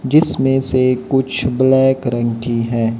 जिसमें से कुछ ब्लैक रंग की है।